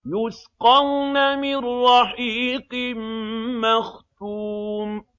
يُسْقَوْنَ مِن رَّحِيقٍ مَّخْتُومٍ